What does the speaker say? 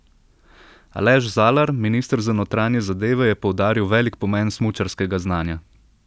Aleš Zalar, minister za notranje zadeve, je poudaril velik pomen smučarskega znanja.